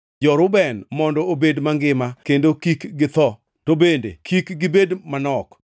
“Jo-Reuben mondo obed mangima kendo kik githo, to bende kik gibed manok.”